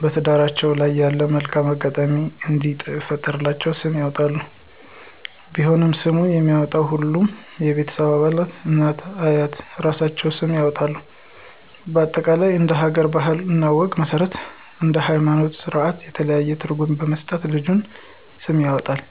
በትዳራቸው ላይ ያለውን መልካም አጋጣሚ እንዲፈጥርላቸው ስም ያወጣሉ። ቢሆንም ስምን የሚያወጣው ሁሉም የቤተሰብ አባላት እናት፤ አያት እራሳቸውም ስም ያወጣሉ በአጠቃላይ እንደ ሀገራችን ባህል እና ወግ መስረት እንደ ሀይማኖታዊ ስራታችን የተለያዩ ትርጉም በመስጠት ለልጆች ስም ይወጣል